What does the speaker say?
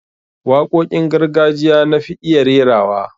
Waƙoƙin gargajiya na fi iya rairawa